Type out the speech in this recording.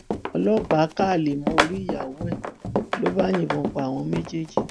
ọlọpàá ka alẹ mọ orí ìyàwó ẹ ló bá yìnbọn pa àwọn méjèèjì